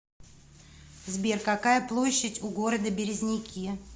сбер какая площадь у города березники